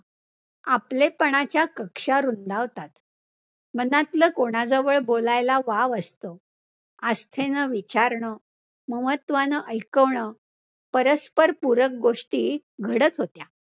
आपलेपणाच्या कक्षा रुंदावतात, मनातलं कोणाजवळ बोलायला वावं असतं, आस्थेनं विचारणं, महत्वानं ऐकवणं, परस्परपूरक गोष्टी घडतं होत्या,